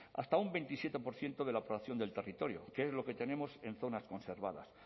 hasta un veintisiete por ciento de la del territorio que es lo que tenemos en zonas conservadas